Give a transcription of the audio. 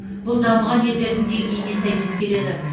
бұл дамыған елдердің деңгейіне сәйкес келеді